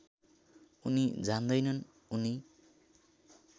उनी जान्दैनन् उनी